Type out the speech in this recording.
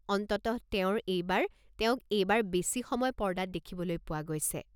অনন্তঃ তেওঁৰ এইবাৰ তেওঁক এইবাৰ বেছি সময় পৰ্দাত দেখিবলৈ পোৱা গৈছে।